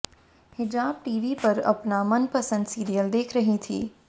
हिजाब टीवी पर अपना मनपसंद सीरियल देख रही थी